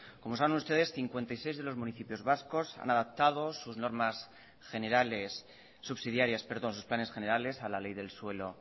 como saben ustedes cincuenta y seis de los municipios vascos han adaptado sus planes generales a la ley del suelo